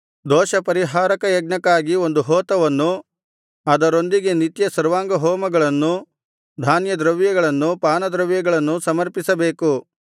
ದೋಷಪರಿಹಾರಕ ಯಜ್ಞಕ್ಕಾಗಿ ಒಂದು ಹೋತವನ್ನೂ ಅದರೊಂದಿಗೆ ನಿತ್ಯ ಸರ್ವಾಂಗಹೋಮಗಳನ್ನೂ ಧಾನ್ಯದ್ರವ್ಯಗಳನ್ನೂ ಪಾನದ್ರವ್ಯಗಳನ್ನೂ ಸಮರ್ಪಿಸಬೇಕು